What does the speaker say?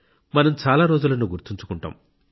మనం చాలా రోజులను గుర్తుంచుకుంటాం